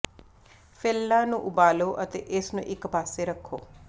ਫ਼ਿਲਲਾਂ ਨੂੰ ਉਬਾਲੋ ਅਤੇ ਇਸ ਨੂੰ ਇਕ ਪਾਸੇ ਰੱਖੋ